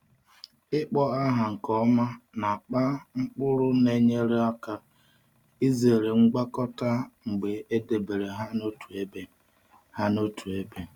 Ịkpọ aha nke ọma n’akpa mkpụrụ na-enyere aka izere ngwakọta mgbe a debere ha n’otu ebe. ha n’otu ebe.